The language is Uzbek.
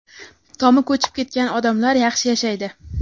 tomi ko‘chib ketgan odamlar yaxshi yashaydi.